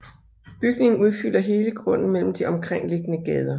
Bygningen udfylder hele grunden mellem de omkringliggende gader